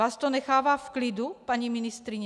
Vás to nechává v klidu, paní ministryně?